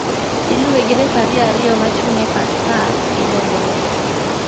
Iluwe gi refari ariyo machung' e path pap gi bendera.